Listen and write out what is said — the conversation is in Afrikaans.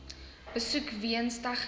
besoek weens tegniese